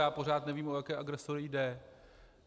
Já pořád nevím, o jaké agresory jde.